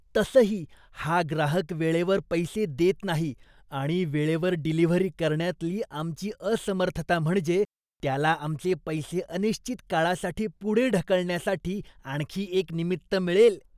तसंही, हा ग्राहक वेळेवर पैसे देत नाही आणि वेळेवर डिलिव्हरी करण्यातली आमची असमर्थता म्हणजे त्याला आमचे पैसे अनिश्चित काळासाठी पुढे ढकलण्यासाठी आणखी एक निमित्त मिळेल.